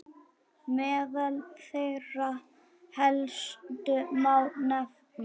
Meðal þeirra helstu má nefna